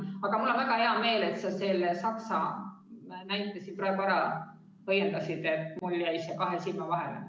Aga mul on väga hea meel, et sa selle Saksamaa näite siin praegu ära õiendasid, mul jäi see kahe silma vahele.